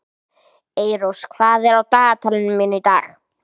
Eyrós, hvað er á dagatalinu mínu í dag?